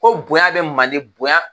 Ko bonya be manden, bonya